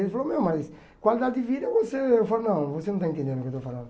Ele falou, meu, mas qualidade de vida, você... Eu falei, não, você não está entendendo o que eu estou falando.